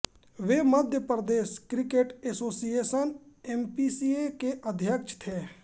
वे Madhya Pradesh cricket association MPCA के अध्यक्ष थे